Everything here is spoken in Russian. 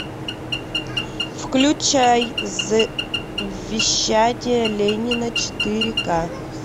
включай завещание ленина четыре ка